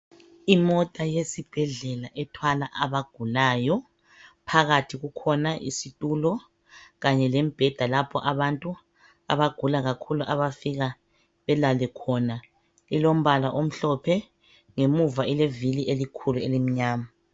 Imota yesibhedlela ethwala abagulayo, phakathi kukhona isitulo kanye lembheda lapho abantu abagula kakhulu abafika belale khona, ilombala omhlophe, ngemuva ilevili elikhulu elimnyama.